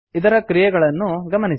ಇದರ ಕ್ರಿಯೆಗಳನ್ನು ಗಮನಿಸಿ